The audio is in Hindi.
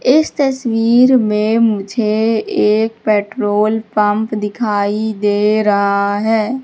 इस तस्वीर में मुझे एक पेट्रोल पंप दिखाई दे रहा है।